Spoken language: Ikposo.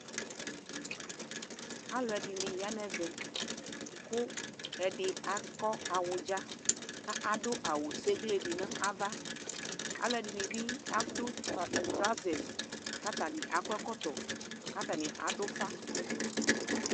Aluɛde ne ya nɛvɛ ko ɛde akɔ awudza ka ado awu seklee de navaƐlɛde ne be patɛli, trauzɛs ka atane akɔ ɛkɔtɔ ka atane ado ufa